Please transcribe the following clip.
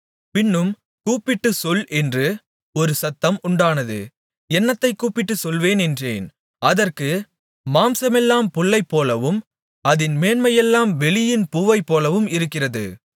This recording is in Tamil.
பின்னும் கூப்பிட்டுச் சொல் என்று ஒரு சத்தம் உண்டானது என்னத்தைக் கூப்பிட்டுச் சொல்வேன் என்றேன் அதற்கு மாம்சமெல்லாம் புல்லைப்போலவும் அதின் மேன்மையெல்லாம் வெளியின் பூவைப்போலவும் இருக்கிறது